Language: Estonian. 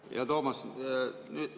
Hea Toomas!